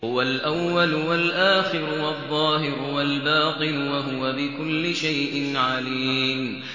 هُوَ الْأَوَّلُ وَالْآخِرُ وَالظَّاهِرُ وَالْبَاطِنُ ۖ وَهُوَ بِكُلِّ شَيْءٍ عَلِيمٌ